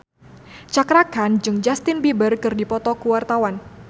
Cakra Khan jeung Justin Beiber keur dipoto ku wartawan